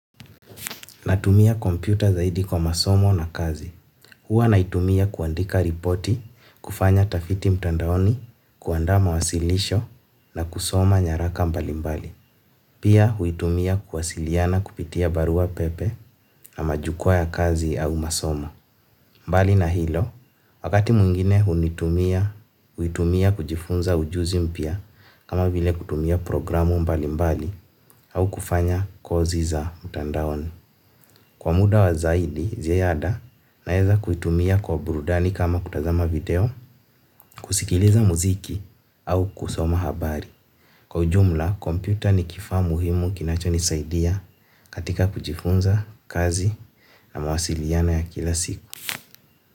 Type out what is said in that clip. Natumia kompyuta zaidi kwa masomo na kazi. Huwa naitumia kuandika ripoti, kufanya utafiti mtandaoni, kuanda mawasilisho na kusoma nyaraka mbali mbali. Pia huitumia kuwasiliana kupitia barua pepe na majukwa ya kazi au masomo. Mbali na hilo, wakati mwingine huitumia kujifunza ujuzi mpya kama vile kutumia programu mbali mbali au kufanya kozi za mtandaoni. Kwa muda wa zaidi, ziada naweza kuitumia kwa burudani kama kutazama video, kusikiliza mziki au kusoma habari. Kwa ujumla, kompyuta ni kifaa muhimu kinacho nisaidia katika kujifunza kazi na mawasiliano ya kila siku.